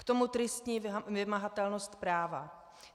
K tomu tristní vymahatelnost práva.